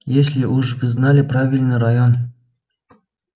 если уж вы знали правильный район